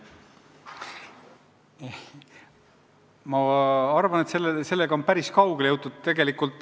Ma arvan, et sellega on päris kaugele jõutud.